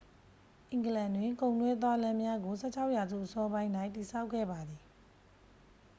အင်္ဂလန်တွင် ကုန်တွဲသွားလမ်းများကို 16 ရာစုအစောပိုင်း၌ တည်ဆောက်ခဲ့ပါသည်